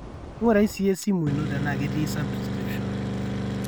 ngurai siiyie esimu ino tenaa ketii subscription